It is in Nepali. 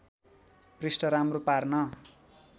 पृष्ठ राम्रो पार्न